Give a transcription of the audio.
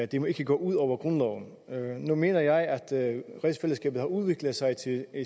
de må ikke gå ud over grundloven nu mener jeg at rigsfællesskabet har udviklet sig til at